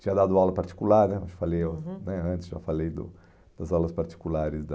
Tinha dado aula particular né, acho que já falei o, uhum, né antes já falei do das aulas particulares da...